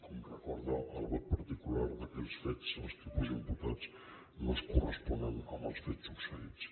com recorda el vot particular d’aquells fets els tipus imputats no es corresponen amb els fets succeïts